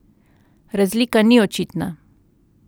Razlika ni očitna.